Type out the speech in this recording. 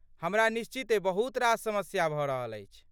हमरा निश्चिते बहुत रास समस्या भऽ रहल अछि।